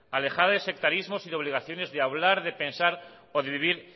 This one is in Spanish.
alejada de sectarismos y de obligaciones de hablar de pensar o de vivir